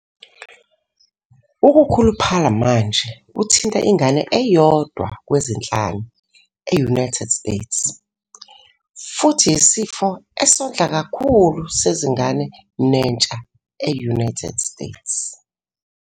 Ukukhuluphala manje kuthinta ingane eyodwa kwezinhlanu e-United States, futhi yisifo esondla kakhulu sezingane nentsha e-United States.